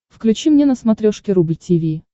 включи мне на смотрешке рубль ти ви